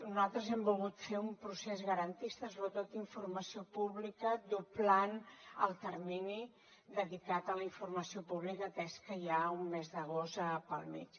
nosaltres hem volgut fer un procés garantista sobretot d’informació pública doblant el termini dedicat a la informació pública atès que hi ha un mes d’agost pel mig